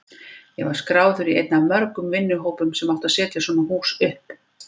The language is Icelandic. Ég var skráður í einn af mörgum vinnuhópum sem átti að setja svona hús upp.